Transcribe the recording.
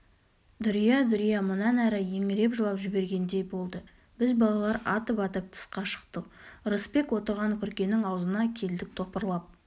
дүрия дүрия мұнан әрі еңіреп жылап жібергендей болды біз балалар атып-атып тысқа шықтық ырысбек отырған күркенің аузына келдік топырлап